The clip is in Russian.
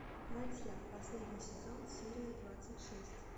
ладья последний сезон серия двадцать шесть